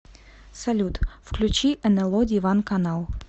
салют включи эн эл о диван канал